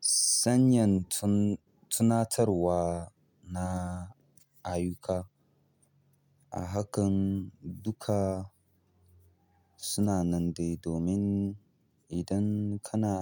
sanyan tun-tunatarwa na ayyuka. A hakan dukka suna nan dai domin idan kana